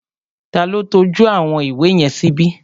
Ta ló tọ́jú àwọn ìwé yẹn síbi?